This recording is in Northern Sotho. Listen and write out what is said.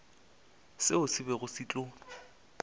seo se bego se tlo